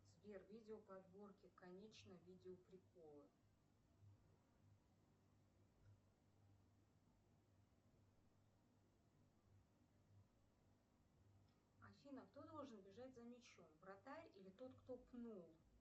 сбер видео подборки конечно видео приколы афина кто должен бежать за мячом вратарь или тот кто пнул